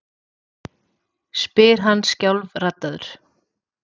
spyr hann skjálfraddaður.